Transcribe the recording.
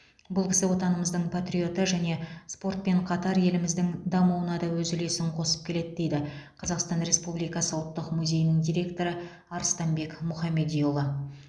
бұл кісі отанымыздың патриоты және спортпен қатар еліміздің дамуына да өз үлесін қосып келеді дейді қазақстан республикасы ұлттық музейінің директоры арыстанбек мұхамедиұлы